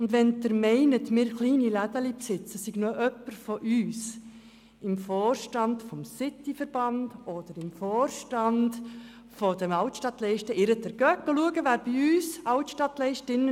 Und wenn Sie aus den Stellungnahmen von Bern-City und von den Altstadtleisten den Schluss ziehen, dass wir kleinen Ladenbesitzer kein Interesse an den erweiterten Öffnungszeiten haben, dann schauen Sie doch einmal, wer dort im Vorstand sitzt.